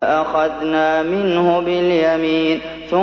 لَأَخَذْنَا مِنْهُ بِالْيَمِينِ